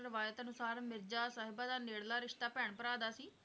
ਰਵਾਇਤ ਅਨੁਸਾਰ ਮਿਰਜਾ ਸਾਹਿਬਾ ਦਾ ਨੇੜਲਾ ਰਿਸਤਾ ਭੈਣ ਭਰਾ ਦਾ ਸੀ